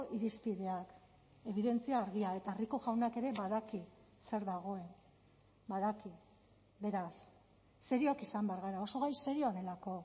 irizpideak ebidentzia argia eta rico jaunak ere badaki zer dagoen badaki beraz serioak izan behar gara oso gai serioa delako